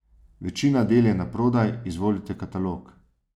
Večina del je naprodaj, izvolite katalog.